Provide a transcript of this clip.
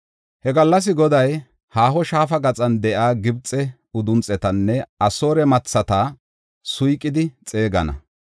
He gallas Goday, haaho shaafa gaxan de7iya Gibxe udunxetanne Asoore mathata suyqidi xeegana.